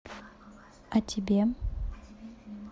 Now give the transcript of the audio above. о тебе